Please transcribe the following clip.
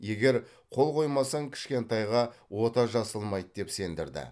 егер қол қоймасаң кішкентайға ота жасалмайды деп сендірді